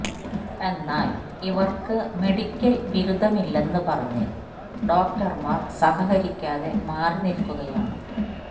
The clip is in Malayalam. എന്നാല് ഇവര്ക്ക് മെഡിക്കല് ബിരുദമില്ലെന്ന് പറഞ്ഞ് ഡോക്ടര്മാര് സഹകരിക്കാതെ മാറി നില്ക്കുകയാണ്